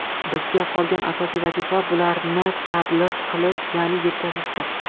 Bizga qolgan asosiy vazifa bularni tablig‘ qilish, ya’ni yetkazishdir.